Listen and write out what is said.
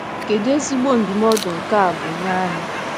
Kedu ezigbo ndụmọdụ nke a bụ nye anyị